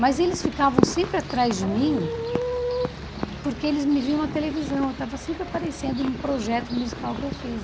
Mas eles ficavam sempre atrás de mim porque eles me viam na televisão, eu estava sempre aparecendo num projeto musical que eu fiz.